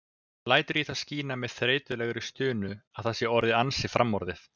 Lætur í það skína með þreytulegri stunu að það sé orðið ansi framorðið.